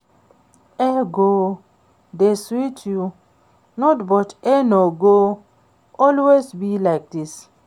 E go dey sweet you now but e no go always be like dis